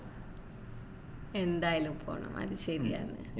എന്തായാലും പോണം അത് ശരിയാണ്